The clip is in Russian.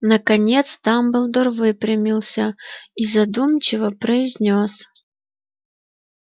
наконец дамблдор выпрямился и задумчиво произнёс